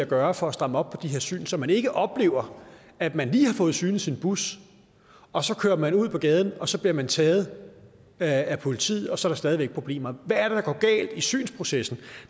gøre for at stramme op på de her syn så man ikke oplever at man lige har fået synet sin bus og så kører man ud på gaden og så bliver man taget af politiet og så er der stadig væk problemer hvad er det der går galt i synsprocessen